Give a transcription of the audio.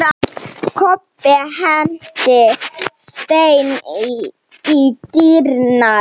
Kobbi henti steini í dyrnar.